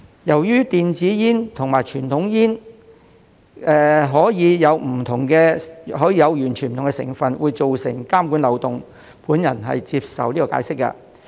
由於電子煙與傳統煙可以有完全不同的成分，會造成監管漏洞，我接受解釋。